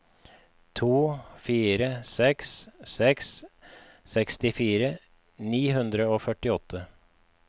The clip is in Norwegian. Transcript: to fire seks seks sekstifire ni hundre og førtiåtte